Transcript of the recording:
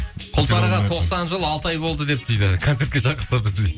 құлсарыға тоқсан жыл алты ай болды деп дейді концертке шақырса бізді дейді